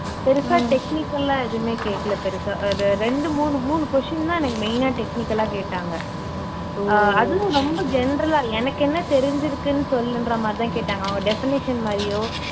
பெருசா technical ஆ எதுவுமே கேக்கல பெருசா அஹ் இது ரெண்டு மூணு மூணு question தான் எனக்கு main ஆ technical ஆ கேட்டாங்க ஆஹ் அதுவும் ரொம்ப general ஆ எனக்கு என்ன தெரிஞ்சுருக்குன்னு சொல்லுன்ற மாதிரிதான் கேட்டாங்க அவங்க definition மாதிரியோ